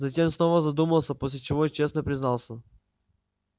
затем снова задумался после чего честно признался